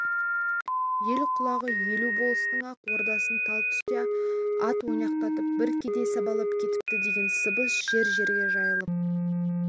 ел құлағы елу болыстың ақ ордасын тал түсте ат ойнақтатып бір кедей сабалап кетіпті деген сыбыс жер-жерге жайылып